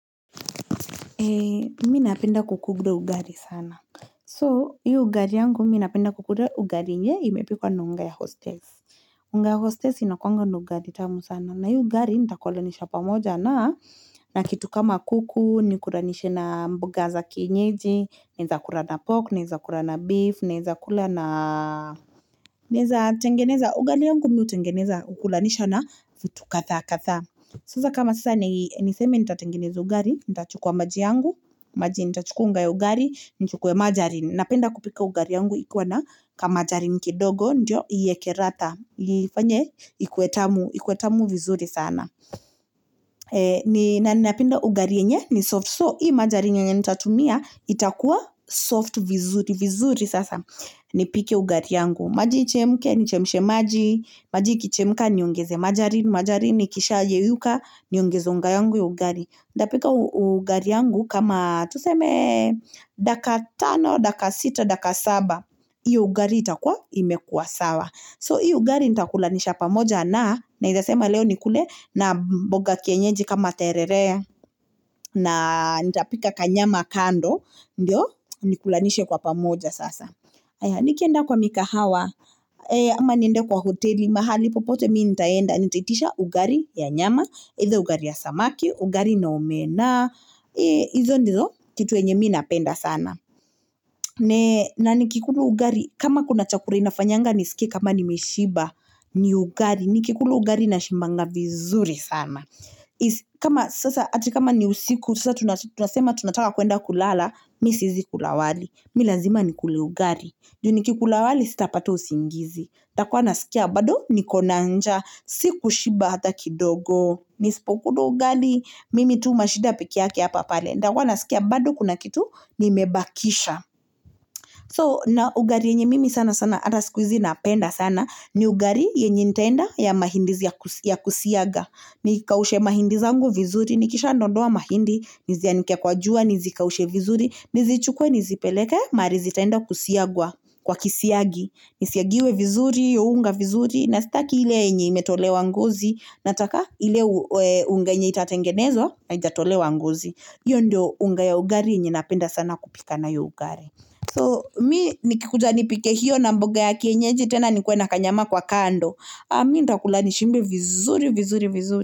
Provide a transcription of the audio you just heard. Mi napenda kukula ugali sana so hiyo ugali yangu mi napenda kukula ugali yenye imepikwa na unga ya hostess unga ya hostess inakuanga na ugali tamu sana na hiyo ugali nitakulanisha pamoja na na kitu kama kuku ni kulanisha na mboga za kienyeji naeza kula na pork naeza kula na beef naeza kula na naeza tengeneza ugali yangu mi hutengeneza ukulanisha na vitu kadhaa kadhaa sasa kama sasa niseme nitatengeneza ugali, nitachukua maji yangu, maji nitachukua nga ya ugali, nichukue majarin. Napenda kupika ugali yangu ikiwa na ka majarin kidogo, ndio iweke radha, nifanye ikue tamu vizuri sana. Na ninapenda ugali yenye ni soft, so hii majarin yenya nitatumia itakuwa soft vizuri, vizuri sasa ni pike ugali yangu. Maji ichemke, nichemshe maji ikichemka niogeze majarini. Majarini ikisha yeyuka. Niongeze maji yangu ya ugali. Ntapika ugali yangu kama tuseme dakika tano, dakika sita, dakika saba. Hiyo ugali itakua imekua sawa So hiyo ugali nitakulanisha pamoja na naeza sema leo nikule na mboga kienyeji kama terere. Na nitapika kanyama kando. Ndio. Nikulanishe kwa pamoja sasa aya nikienda kwa mikahawa. Ama niende kwa hoteli, mahali popote mi nitaenda, nitaitisha ugali ya nyama either ugali ya samaki, ugali na omena. Izo ndizo, kitu yenye mii napenda sana. Na nikikula ugali, kama kuna chakula inafanyanga nisikie kama nimeshiba. Ni ugali, nikikula ugali na shibanga vizuri sana. Kama sasa, ati kama ni usiku, sasa tunasema tunataka kuenda kulala. Mi siwezi kula wali, mi lazima nikule ugali. Ju ni kikula wali sita pata usingizi nitakua nasikia bado niko na njaa, si kushiba hata kidogo. Nisipo kula ugali, mimi tu mashida peke yake hapa pale. Ntakua nasikia bado kuna kitu, nimebakisha. So, na ugali yenye mimi sana sana, ata sikuhizi napenda sana, ni ugali yenye nitaenda ya mahindi ya kusiaga. Nikaushe mahindi zangu vizuri, nikisha ndondoa mahindi, nizianike kwa jua, nizikaushe vizuri, nizichukwe, nizipeleke, mahali zitaenda kusiagwa kwa kisiagi. Nisiagiwe vizuri, uunga vizuri. Na sitaki ile yenye imetolewa ngozi. Nataka ile unga yenye itatengenezwa. Na haijatolewa ngozi hiyo ndio unga ya ugali yenye napenda sana kupika nayo ugali So mi nikikuja nipike hiyo na mboga ya kienyeji. Tena nikuena kanyama kwa kando. Mi nta kulani shibe vizuri, vizuri, vizuri.